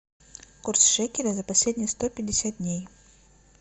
курс шекеля за последние сто пятьдесят дней